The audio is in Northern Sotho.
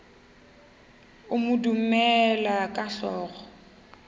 a mo dumela ka hlogo